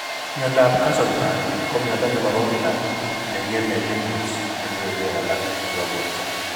Myondab Castleman ko myondo nemobo kila neng'eme lymph nodes ak kebeberwek alak chebo borto